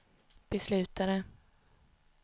beslutade